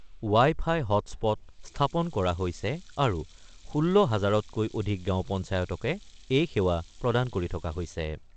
Wi-Fi hotspot স্থাপন কৰা হৈছে আৰু ১৬ হাজাৰতকৈ অধিক গাঁও পঞ্চায়তকে এই সেৱা প্ৰদান কৰি থকা হৈছে।